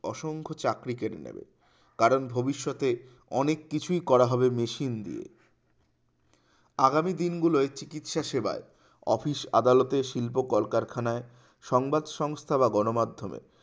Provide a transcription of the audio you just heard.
অসংখ্য চাকরি কেড়ে নেবে কারণ ভবিষ্যতে অনেক কিছুই করা হবে মেশিন দিয়ে। আগামী দিনগুলোই চিকিৎসা সেবায় office আদালতে শিল্প কলকারখানায় সংবাদ সংস্থা বা গণ মাধ্যমে